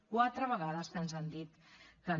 quatre vegades que ens han dit que no